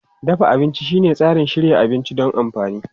Dafa abinci shine tsarin shirya abinci don amfani.